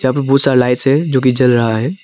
यहां पे बहुत सारा लाइट्स है जो कि जल रहा है।